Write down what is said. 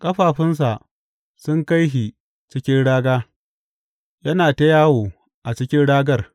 Ƙafafunsa sun kai shi cikin raga, yana ta yawo a cikin ragar.